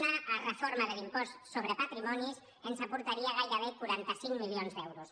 una reforma de l’impost sobre patrimonis ens aportaria gairebé quaranta cinc milions d’euros